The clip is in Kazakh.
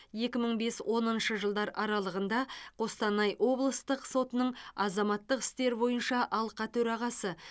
екі мың бес оныншы жылдары қостанай облыстық сотының азаматтық істер бойынша алқа төрағасы